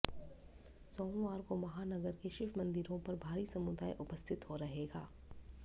सोमवार को महानगर के शिव मंदिरों पर भारी समुदाय उपस्थित रहेगा